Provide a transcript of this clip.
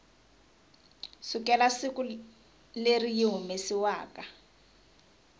sukela siku leri yi humesiwaku